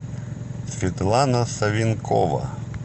светлана савенкова